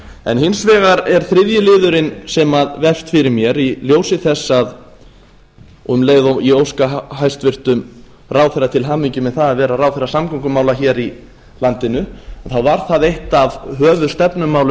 en hins vegar er þriðji liðurinn sem vefst fyrir mér í ljósi þess um leið og óska hæstvirtum ráðherra til hamingju með það að vera ráðherra samgöngumála hér í landinu þá var það eitt af höfuðstefnumálum